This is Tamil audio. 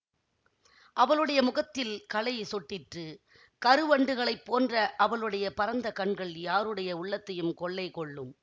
அவளுடைய முகத்தில் களை சொட்டிற்று கருவண்டுகளைப் போன்ற அவளுடைய பரந்த கண்கள் யாருடைய உள்ளத்தையும் கொள்ளை கொள்ளும்